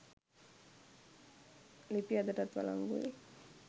ලිපි අදටත් වලංගුයි